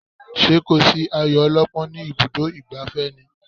Ṣé kò sí ayo ọlọ́pọ́n ní ibùdó ìgbafẹ́ ni?